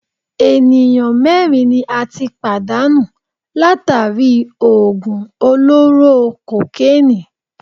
Ènìyàn mẹ́rin ni a tí pàdánù látàri í òògùn olóró kokénìí.